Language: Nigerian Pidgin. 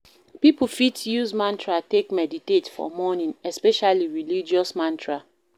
Pipo fit use mantra take meditate for morning especially religious mantra